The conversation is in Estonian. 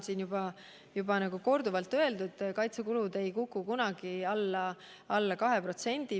Siin on juba korduvalt öeldud, et kaitsekulud ei kuku kunagi alla 2%.